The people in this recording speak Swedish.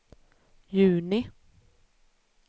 juni